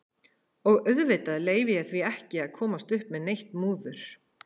Og auðvitað leyfi ég því ekki að komast upp með neitt múður.